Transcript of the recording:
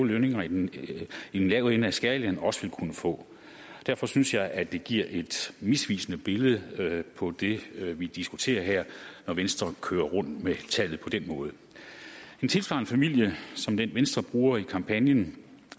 lønninger i den lave ende af skalaen også vil kunne få derfor synes jeg at det giver et misvisende billede på det vi diskuterer her når venstre kører rundt med tallet på den måde en tilsvarende familie som den venstre bruger i kampagnen